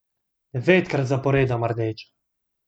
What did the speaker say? Devetkrat zaporedoma rdeča!